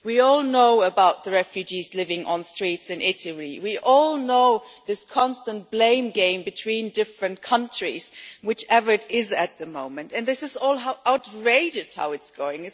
We all know about the refugees living on the streets in Italy. We all know this constant blame game between different countries whichever it is at the moment and it is outrageous how this is going.